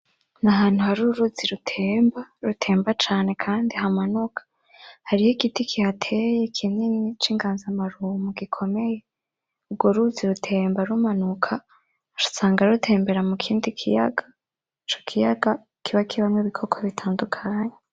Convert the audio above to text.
N'ahantu har'uruzi rutemba rutemba cane kandi hamanuka hariho igitiki kihateye kinini c'inganzamarumbo gikomeye ugwo ruzi rutemba rumanuka usanga rutembera mukindi kiyaga ico kiyaga kiba kibamwo ibikoko butandukanye.